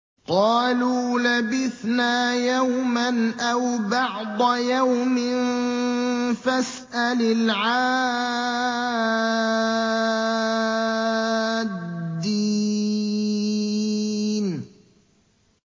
قَالُوا لَبِثْنَا يَوْمًا أَوْ بَعْضَ يَوْمٍ فَاسْأَلِ الْعَادِّينَ